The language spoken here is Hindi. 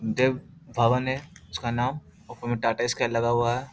देव भवन है उसका नाम ऊपर में टाटा स्काई लगा हुआ है |